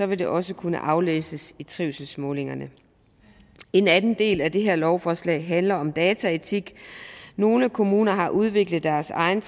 vil det også kunne aflæses i trivselsmålingerne en anden del af det her lovforslag handler om dataetik nogle kommuner har udviklet deres egne